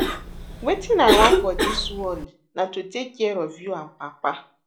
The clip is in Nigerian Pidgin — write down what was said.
Wetin I want for dis world na to take care of you and Papa